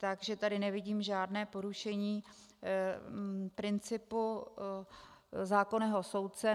Takže tady nevidím žádné porušení principu zákonného soudce.